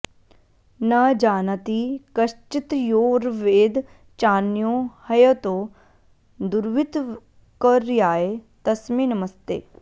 न जानाति कश्चित्तयोर्वेद चान्यो ह्यतो दुर्वितर्क्याय तस्मे नमस्ते